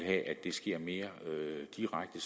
at det sker mere direkte